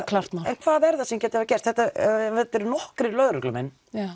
klárt mál hvað er það sem gæti hafa gerst þetta eri nokkrir lögreglumenn